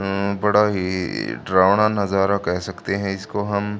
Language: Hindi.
अं बड़ा ही डरावना नजारा कह सकते हैं इसको हम--